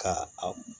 Ka a